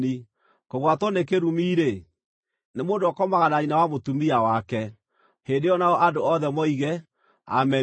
“Kũgwatwo nĩ kĩrumi-rĩ, nĩ mũndũ ũrĩa ũkomaga na nyina wa mũtumia wake.” Hĩndĩ ĩyo nao andũ othe moige, “Ameni!”